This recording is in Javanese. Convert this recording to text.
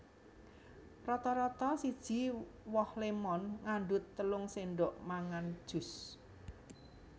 Rata rata siji woh lémon ngandhut telung sendhok mangan jus